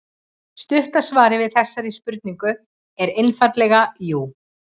Stutta svarið við þessari spurningu er einfaldlega jú.